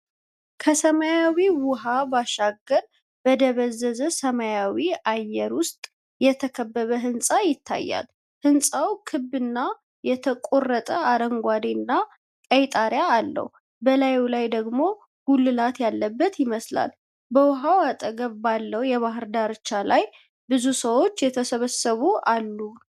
ከሰማያዊው ውሃ ባሻገር በደበዘዘ ሰማያዊ አየር ውስጥ የተከበበ ሕንፃ ይታያል። ህንጻው ክብ እና የተቆረጠ አረንጓዴ እና ቀይ ጣሪያ አለው፤ በላዩ ላይ ደግሞ ጉልላት ያለበት ይመስላል። በውሃው አጠገብ ባለው የባሕር ዳርቻ ላይ ብዙ ሰዎች የተሰበሰቡ አሉ